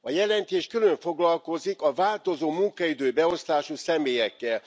A jelentés külön foglalkozik a változó munkaidőbeosztású személyekkel.